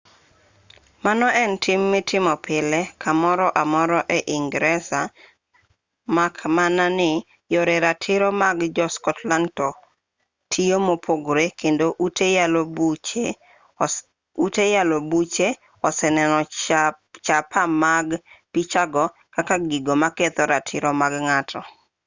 mano en tim mitimo pile kamoro amora ei ingresa mak mana ni yore ratiro mag jo-scottland to tiyo mopogore kendo ute yalo buche oseneno chapa mag pichago kaka gigo moketho ratiro mar ng'ato